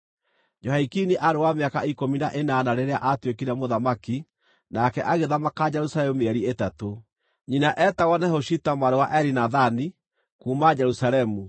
Jehoiakini aarĩ wa mĩaka ikũmi na ĩnana rĩrĩa aatuĩkire mũthamaki, nake agĩthamaka Jerusalemu mĩeri ĩtatũ. Nyina eetagwo Nehushita mwarĩ wa Elinathani, kuuma Jerusalemu.